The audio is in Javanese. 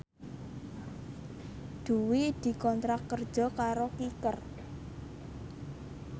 Dwi dikontrak kerja karo Kicker